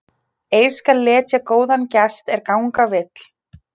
Ei skal letja góðan gest er ganga vill.